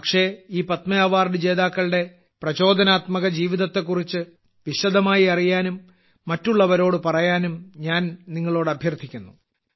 പക്ഷേ ഈ പത്മ അവാർഡ് ജേതാക്കളുടെ പ്രചോദനാത്മക ജീവിതത്തെക്കുറിച്ച് വിശദമായി അറിയാനും മറ്റുള്ളവരോട് പറയാനും ഞാൻ നിങ്ങളോട് അഭ്യർത്ഥിക്കുന്നു